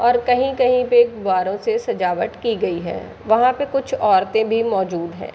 और कहीं-कहीं पे गुब्बारों से सजावट की गई है वहाँ पे कुछ औरते भी मौजूद हैं।